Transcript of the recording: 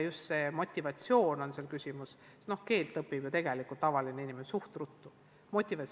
Just motivatsioon on Narvas küsimus, sest keele õpib tavaline inimene ju suhteliselt ruttu ära.